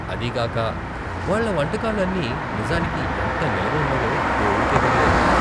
అదీగాక, వాళ్ళ వంటకాలు అన్ని నిజానికి ఎంత నిలవ ఉన్నవో దేవుడికే తెలియాలి .